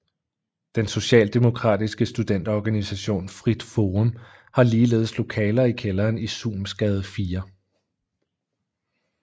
Den Socialdemokratiske studenterorganisation Frit Forum har ligeledes lokaler i kælderen i Suhmsgade 4